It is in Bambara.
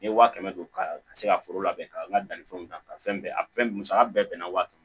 N ye wa kɛmɛ don ka se ka foro labɛn ka n ka dannifɛnw ta ka fɛn bɛɛ fɛn musaka bɛɛ bɛnna waa kɛmɛ